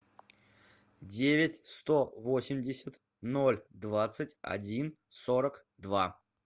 девять сто восемьдесят ноль двадцать один сорок два